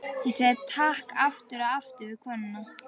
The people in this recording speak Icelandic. Ég sagði takk aftur og aftur við konuna.